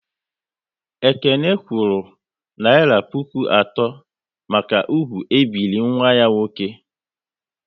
Ekene kwuru naira puku atọ maka ugwu e biri nwa ya nwoke